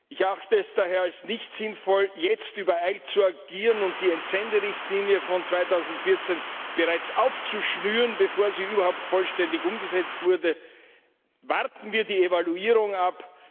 Ich erachte es daher als nicht sinnvoll, jetzt übereilt zu agieren und die Entsenderichtlinie von 2014 bereits aufzuschnüren, bevor sie überhaupt vollständig umgesetzt wurde. Warten wir die Evaluierung ab!